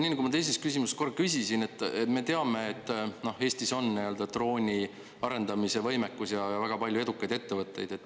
Nii, nagu ma teises küsimuses korra küsisin, et me teame, et Eestis on drooniarendamise võimekus ja väga palju edukaid ettevõtteid.